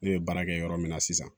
Ne ye baara kɛ yɔrɔ min na sisan